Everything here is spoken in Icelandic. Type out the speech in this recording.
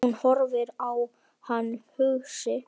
Hún horfir á hann hugsi.